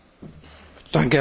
Herr Präsident!